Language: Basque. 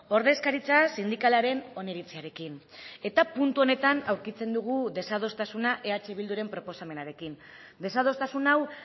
ordezkaritza sindikalaren oniritziarekin eta puntu honetan aurkitzen dugu desadostasuna eh bilduren proposamenarekin desadostasun hau